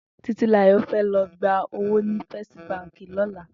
Titilayo fè lò gbà ówó ni Fèstí bànkí lòlá